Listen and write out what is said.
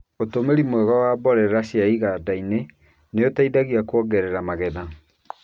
ũtũmĩri mwega wa mborera cia iganda-inĩ nĩ ũteithagia kuongerera magetha.